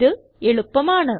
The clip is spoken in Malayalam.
ഇത് എളുപ്പമാണ്